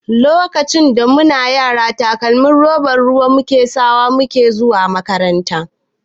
Lokacin mu na yara takalmin roba ruwan ƙasa mu ke sawa zuwa makaranta.